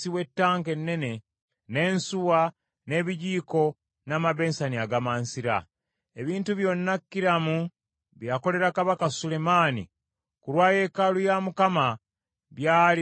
n’ensuwa, n’ebisena, n’amabensani agamansira. Ebintu byonna Kulamu bye yakolera Kabaka Sulemaani ku lwa yeekaalu ya Mukama byali bya bikomo bizigule.